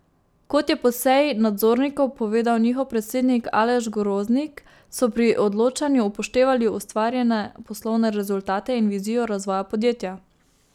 Kot je po seji nadzornikov povedal njihov predsednik Aleš Groznik, so pri odločanju upoštevali ustvarjene poslovne rezultate in vizijo razvoja podjetja.